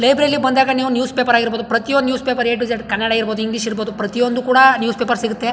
ಲೈಬ್ರರಿಲಿ ಬಂದಾಗ ನೀವು newspaper ಆಗಿರಬಹುದು ಪ್ರತಿ ಒಂದು newspaper A to Z Kannada ಇರಬಹುದು ಇಂಗ್ಲಿಷ್ ಇರಬಹುದು ಪ್ರತಿಯೊಂದು ಕೂಡ ನ್ಯೂಸ್ ಪೇಪರ್ ಸಿಗುತ್ತೆ.